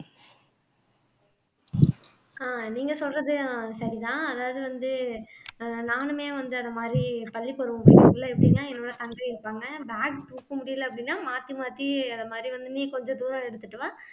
ஆஹ் நீங்க சொல்றதும் சரிதான் அதாவது வந்து ஆஹ் நானுமே வந்து அந்த மாதிரி பள்ளிப்பருவம் period ல எப்படின்னா என்னோட தங்கை இருப்பாங்க bag தூக்க முடியல அப்படின்னா மாத்தி மாத்தி அந்த மாதிரி வந்து நீ கொஞ்ச தூரம் எடுத்துட்டு வா